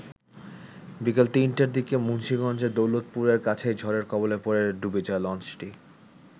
বিকেল ৩ টার দিকে মুন্সিগঞ্জের দৌলতপুরের কাছেই ঝড়ের কবলে পড়ে ডুবে যায় লঞ্চটি।